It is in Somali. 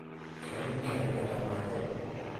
Kalinka iika damadhe.